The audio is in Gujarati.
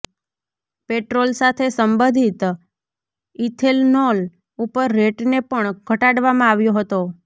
પેટ્રોલ સાથે સંબંધિત ઇથેનોલ ઉપર રેટને પણ ઘટાડવામાં આવ્યો હતો